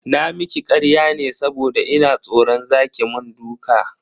Na miki karya ne saboda ina tsoran za ki mun duka